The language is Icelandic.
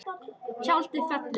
Tjaldið fellur.